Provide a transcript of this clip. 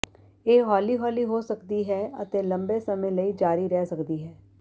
ਇਹ ਹੌਲੀ ਹੌਲੀ ਹੋ ਸਕਦੀ ਹੈ ਅਤੇ ਲੰਬੇ ਸਮੇਂ ਲਈ ਜਾਰੀ ਰਹਿ ਸਕਦੀ ਹੈ